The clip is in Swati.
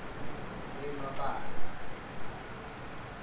emabandla